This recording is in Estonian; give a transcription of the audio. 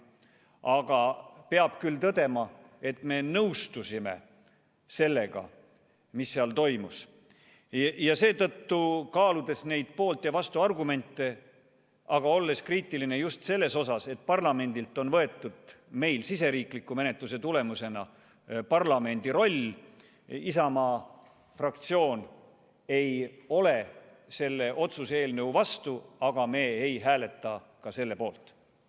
Küll aga peab tõdema, et me nõustusime sellega, mis seal toimus ning seetõttu kaaludes poolt- ja vastuargumente, aga olles kriitiline just selles osas, et parlamendilt on võetud siseriikliku menetluse tulemusena parlamendi roll, Isamaa fraktsioon ei ole selle otsuse eelnõu vastu, aga me ei hääleta ka selle poolt.